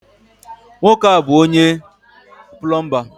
Nwoke a bu onye-pulumba